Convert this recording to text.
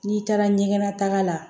N'i taara ɲɛgɛn na taga la